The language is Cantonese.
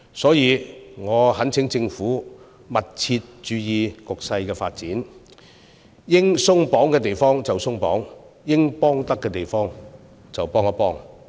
所以，我懇請政府密切注意局勢發展，應鬆綁之處就鬆綁，應提供協助之處就提供協助。